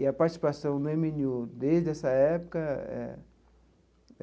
E a participação do eme ene u desde essa época eh